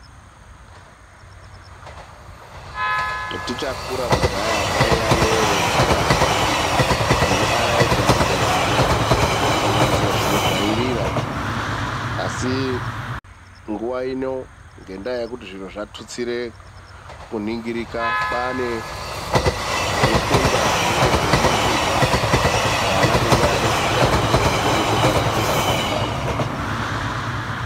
Tichakura kudhaya kwaiya nenjira dzekuaraidza ndidzo ana, usanganisira zviro zvairira. Asi nguwa ino ngendaa yekuti zviro zvatutsire kuningirika kwaane ruthlunga runenge rweiningirwa vana veiwandidzuka ngezviro zvinobudepo paruthlungapo apapo.